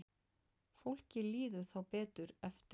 Fólki líður þá betur eftir á.